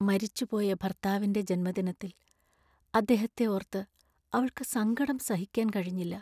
മരിച്ചുപോയ ഭർത്താവിന്‍റെ ജന്മദിനത്തിൽ അദ്ദേഹത്തെ ഓർത്ത് അവൾക്ക് സങ്കടം സഹിക്കാൻ കഴിഞ്ഞില്ല.